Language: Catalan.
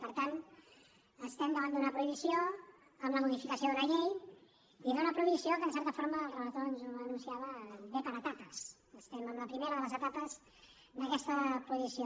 per tant estem davant d’una prohibició amb la modificació d’una llei i d’una prohibició que en certa forma el relator ens ho anunciava ve per etapes estem en la primera de les etapes d’aquesta prohibició